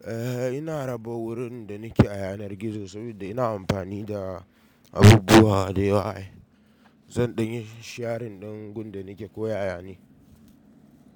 Eh ina raba wurin da ni ke a yanar gizo saboda ina amfani da abubuwa da waya zan ɗin yin shiyarin ɗan gun da ni ke ko yaya ne.